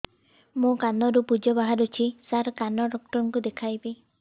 ମୋ କାନରୁ ପୁଜ ବାହାରୁଛି ସାର କାନ ଡକ୍ଟର କୁ ଦେଖାଇବି